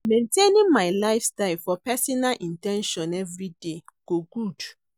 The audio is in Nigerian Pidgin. Maintaining my lifestyle for my pesinal in ten tion everyday go good.